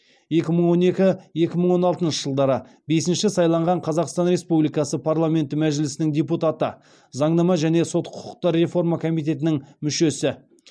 екі мың он екі екі мың он алтыншы жылдары бесінші сайланған қазақстан республикасы парламенті мәжілісінің депутаты заңнама және сот құқықтар реформа комитетінің мүшесі